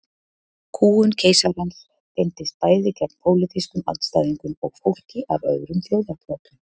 Kúgun keisarans beindist bæði gegn pólitískum andstæðingum og fólki af öðrum þjóðarbrotum.